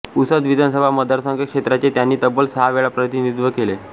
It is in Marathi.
पुसद विधानसभा मतदारसंघ क्षेत्राचे त्यांनी तब्बल सहा वेळा प्रतिनिधित्व केले